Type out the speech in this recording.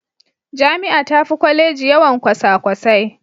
Jami'a tafi Kwaleji yawan kwasakwasai.